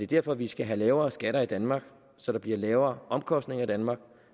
derfor at vi skal have lavere skatter i danmark så der bliver lavere omkostninger i danmark